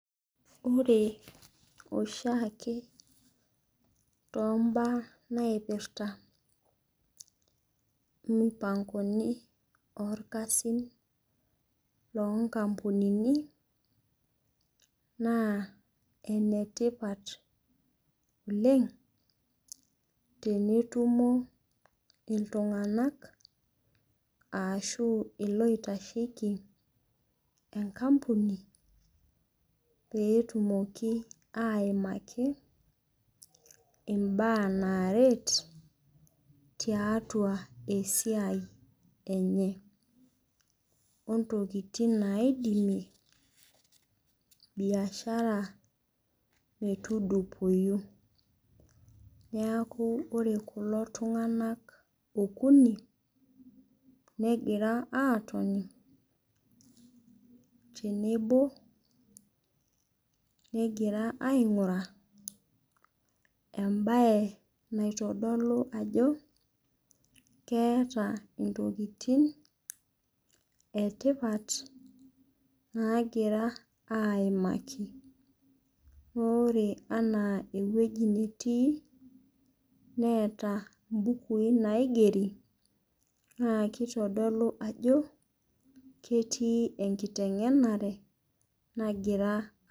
Ore oshiake toombaa naipirta imupang'oni oolkasin loonkapunini, naa ene tipat oleng' tenetumo illtung'anak ashu iloitasheiki enkampuni peetumoki aimaki imbaa naaret tiatua esiai enye, o intokitin naidimie biashara metudupoyu. Neaku ore kulo tung'anak okuni, neggira aatoni tenebo negira aing'uraa embaye naitodolu ajo keata intokitin e tipat naagira aimaki. Ore anaa ewueji nitii neata imbukui naigeri naake eitodolu ajo ketii enkiteng'enare nagira.